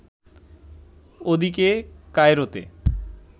ওদিকে, কায়রোতে